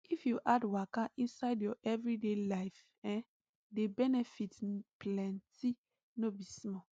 if you add waka inside your everyday life[um]the benefit plenty no be small